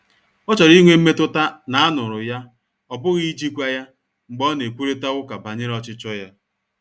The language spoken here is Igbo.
Ọ chọrọ inwe mmetụta na a nụ̀rụ ya,ọ bụghi ijikwa ya, mgbe ọ na-ekwurịta ụka banyere ọchichọ ya.